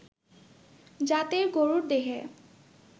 জাতের গরুর দেহে